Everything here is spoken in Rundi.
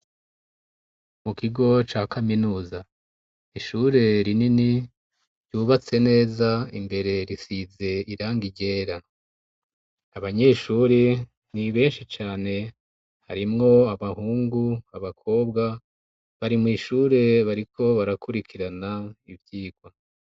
Mu kigo ca kaminuza ishure rinini ryubatse neza, imbere risize irangi ryera. Abanyeshure ni benshi cane harimwo abahungu, abakobwa bari mw'ishure bariko barakurikirana ivyigwa.